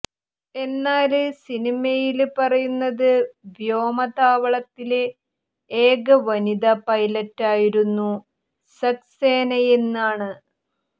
എന്നാല് സിനിയമയില് പറയുന്നത് വ്യോമതാവളത്തിലെ ഏക വനിതാ പൈലറ്റായിരുന്നു സക്സേനയെന്നാണ്